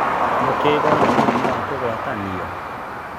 Mũkingo nĩ mũrimũ wa kũgwatanio